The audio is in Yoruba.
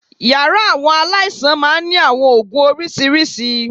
Yàrá àwọn aláìsàn máa ń ní àwọn oògùn oríṣiríṣi